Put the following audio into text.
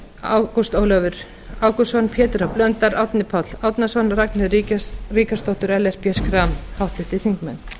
ágúst ólafur ágústsson pétur h blöndal árni páll árnason ragnheiður ríkharðsdóttir og ellert b schram háttvirtir þingmenn